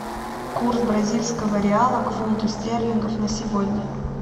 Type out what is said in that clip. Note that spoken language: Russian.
курс бразильского реала к фунту стерлингов на сегодня